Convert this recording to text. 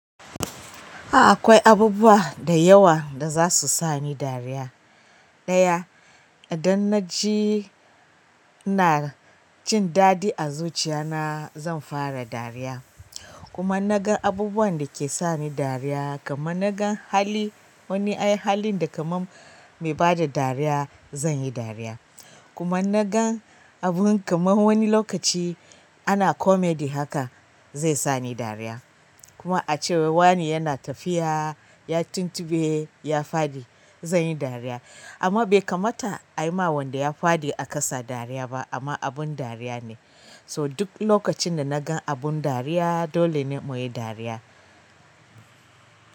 A akwai abubbuwa da yawa da zasu sani dariya. Ɗaya idan naji ina cin daɗi a zuciya na zan fara dariya. Kuma naga abubuwan da ke sani dariya kaman naga hali wani ai halin da kaman mai bada dariya zan yi dariya. Kuma naga abun kaman wani lokaci ana comedy haka zai sani dariya. Ko a cewa wai wani yana tafiya ya tuntuɓe ya faɗi zan yi dariya. Amma bai kamata a yi ma wanda ya faɗi a ƙasa dariya ba amma abun dariya ne. To duk lokacin da naga abun dariya dole ko yi dariya.